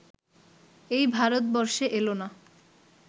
এই ভারতবর্ষে এলো না